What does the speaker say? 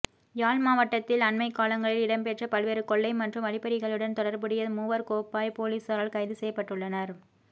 யாழ் மாவட்டத்தில் அண்மைக்காலங்களில் இடம்பெற்ற பல்வேறு கொள்ளை மற்றும் வழிப்பறிகளுடன் தொடர்புடைய மூவர் கோப்பாய் பொலிசாரால் கைது செய்யப்பட்டுள்ளனர்